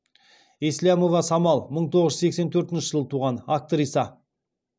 еслямова самал мың тоғыз жүз сексен төртінші жылы туған актриса